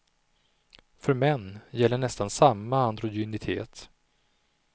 För män gäller nästan samma androgynitet.